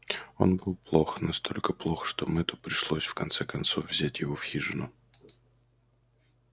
он был плох настолько плох что мэтту пришлось в конце концов взять его в хижину